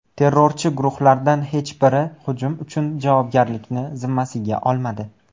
Terrorchi guruhlardan hech biri hujum uchun javobgarlikni zimmasiga olmadi.